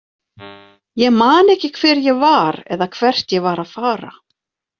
Ég man ekki hver ég var eða hvert ég var að fara.